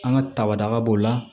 An ka tabadaga b'o la